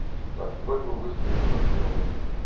так ну вроде бы быстро и хорошо работает